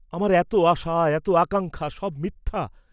আমার এত আশা এত আকাঙ্ক্ষা সব মিথ্যা!